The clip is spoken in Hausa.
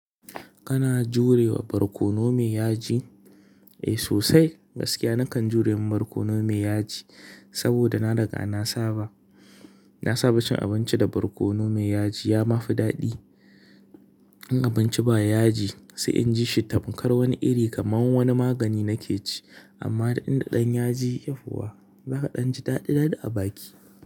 Kana jurewa barkono mai yaji? Eh sosai, gaskiya nakan jure ma barkono mai yaji, saboda na riga na saba. Na saba cin abinci da barkono mai yaji ya mafi daɗi. In abinci ba yaji, ''sai inji shi tamkar wani iri kamar wani magani nake ci, amma in da ɗan yaji, yauwa, za'a danji daɗi daɗi a baki.